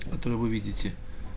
вот вы увидите